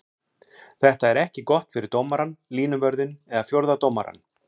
Þetta er ekki gott fyrir dómarann, línuvörðinn eða fjórða dómarann.